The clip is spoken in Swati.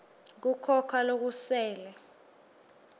kukhona lokusele